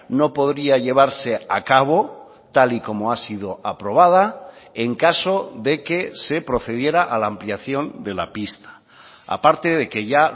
no podría llevarse a cabo tal y como ha sido aprobada en caso de que se procediera a la ampliación de la pista aparte de que ya